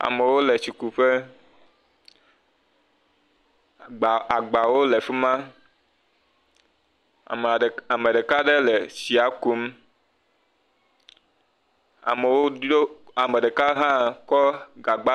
Amewo le tsikuƒe, agba agbawo le fi ma, amea ame ɖeka ɖe le tsia kum, amewo ɖo ame ɖeka hã kɔ gagba.